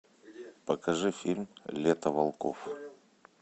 покажи фильм лето волков